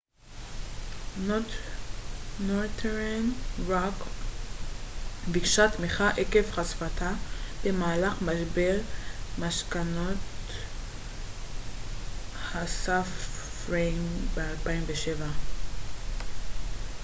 נורת'רן רוק ביקשה תמיכה עקב חשיפתה במהלך משבר משכנתאות הסאב-פריים ב-2007